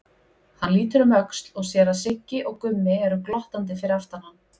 Hann lítur um öxl og sér að Siggi og Gummi eru glottandi fyrir aftan hann.